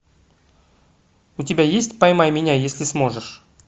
у тебя есть поймай меня если сможешь